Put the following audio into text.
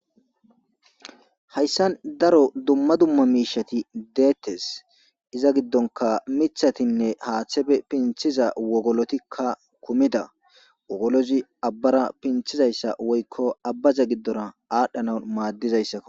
Hayssan daro dumma dumma miishati deettes iza giddonka mithatinne haaththebe pinthiza wogolotikka kumida wogolozi abbara pinthizayssa woykko abbaza giddora aadhdhanan maaddizayssakko.